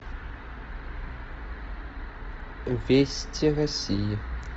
вести россии